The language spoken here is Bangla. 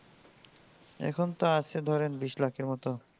এখুন তো আছে ধরেন বিস্ লাখ এর মতো